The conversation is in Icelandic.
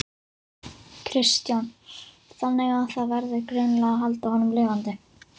Kristján: Þannig að það verður greinilega að halda honum lifandi?